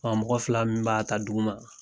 Ɔ mɔgɔ fila min b'a ta dugu ma